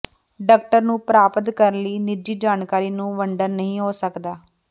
doctor ਨੂੰ ਪ੍ਰਾਪਤ ਕਰਨ ਲਈ ਨਿੱਜੀ ਜਾਣਕਾਰੀ ਨੂੰ ਵੰਡਣ ਨਹੀ ਹੋ ਸਕਦਾ ਹੈ